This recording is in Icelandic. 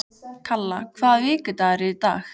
Kalla, hvaða vikudagur er í dag?